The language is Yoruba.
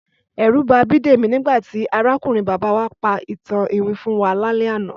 Ẹ̀rù ba Bídèmí nígbà tí arákùnrin bàbá wá pa ìtàn iwin fún wa lálẹ́ àná